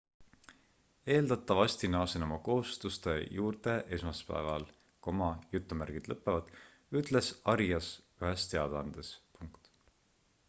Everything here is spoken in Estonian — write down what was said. eeldatavasti naasen oma kohustuste juurde esmaspäeval ütles arias ühes teadaandes